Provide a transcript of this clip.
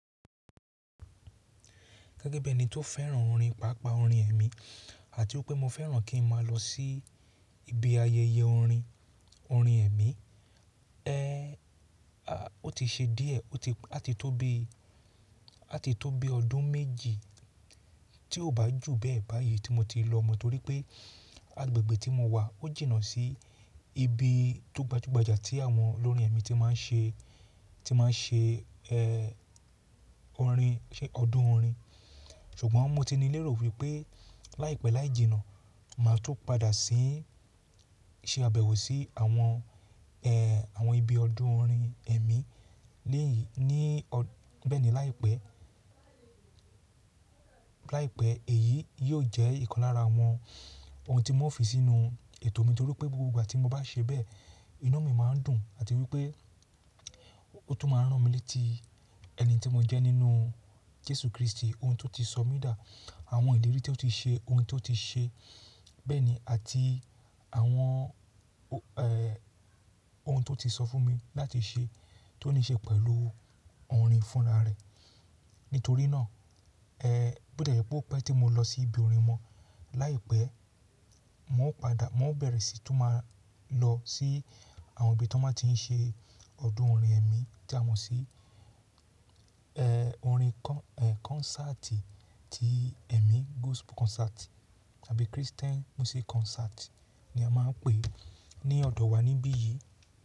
Gẹ́gẹ́ bí ẹni tó fẹ́ràn orin, pàápàá orin ẹ̀mí àti pé mo fẹ́ràn kí ń máa lọ sí ibi ayẹyẹ orin, orin ẹ̀mí. É, aà, ó ti ṣe díẹ̀ ó ti àti tó bi, àti tó bi ọdún méjì tí ò bá jù bẹ́ẹ̀ báyìí tí mo ti lọ mọ̀ torí pé agbègbè tí mo wà ó jìnnà sí ibi tó gbajúgbajà tí àwọn olórin ẹ̀mí ti máa ń ṣe, ti máa ń ṣe é, orin, ọdún orin. Ṣùgbọ́n mo ti ní lérò wípé láìpẹ́ láì jìnnà màá tó padà sí ń ṣe àbẹ̀wò sí àwọn é, àwọn ibi ọdún orin ẹ̀mí léyìi, ní ọ́ bẹ́ẹ̀ ni láìpẹ́. Láìpẹ́ èyí yóò jẹ́ ìkan lára àwọn ohun tí mo fi sínú ètò mi torí pé gbogbo ìgbà tí mo bá ṣe bẹ́ẹ̀ inu mi máa ń dùn àti wípé ó tún máa rán mi létí ẹni tí mo jẹ́ nínú Jésù Kristi ohun tó ti sọ mi dà, àwọn ìlérí tó ti ṣe ohun tó ti ṣe, bẹ́ẹ̀ ni àti àwọn é, ohun tó ti sọ fún mi láti ṣe tó ní ṣe pẹ̀lú orin fúnra rẹ̀. Nítorí náà, èé bọ̀ tí è jẹ́ pé ọpẹ tí mo lọ sí ibi orin wọn láìpẹ́, mò ń padà mò ń bẹ̀rẹ̀ sí tún máa lọ sí àwọn ibi tí wọ́n máa ti ń ṣe ọdún orin ẹ̀mí tí a mọ̀ sí é, orin kọ́ é konsáàtì tí ẹ̀mí gospel concert tàbí Christian music concert ni a máa ń pè é ní ọ̀dọ̀ wa níbí yìí.